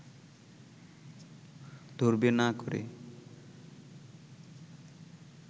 ধরবে না করে